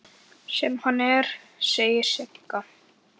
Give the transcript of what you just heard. Sem hann er, segir Sigga.